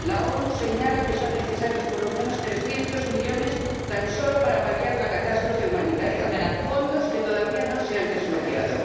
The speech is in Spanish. La ONU señala que son necesarios por lo menos 300 millones tan solo para paliar la catástrofe humanitaria ―fondos que todavía no se han desbloqueado―.